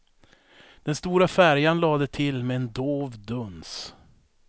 Den stora färjan lade till med en dov duns.